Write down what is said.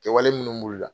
Kɛwale minnu b'u la